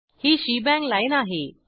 ही shebang line आहे